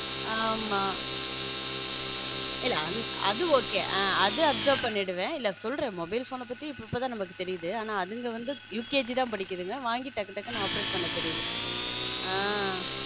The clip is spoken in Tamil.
ஆம இல்ல அது okay அது observer பண்ணிடுவேன் சொல்ற mobile phone பத்தி இப்போதான் நமக்கு தெரியுது அதுல வந்து யூகேஜி தான் படிக்குது வாங்கி டக்கு டக்குனு operate பண்ண தெரியுது.